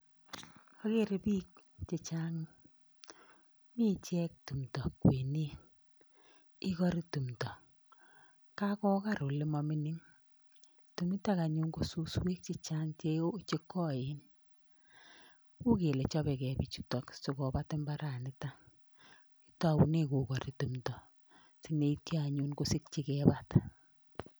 Agere piik chechang' mi ichek tumdo kwenet ikori tumdo kagokar ole mamining', tumitok anyun ko suswek chechang' chekoen, u'kele chapekei pichutok sikopat imbaranitok, taune kokari tumdo sineityo anyun kosikchi kepat.